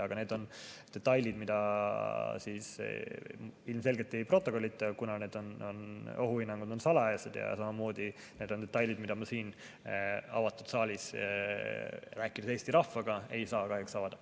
Aga need on detailid, mida ilmselgelt ei protokollita, kuna need ohuhinnangud on salajased, ja samamoodi need on detailid, mida ma siin avatud saalis, rääkides Eesti rahvaga, ei saa kahjuks avada.